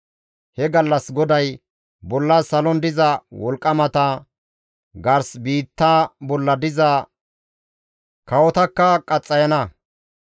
He gallas GODAY bolla salon diza wolqqamata gars biitta bolla diza kawotakka qaxxayana.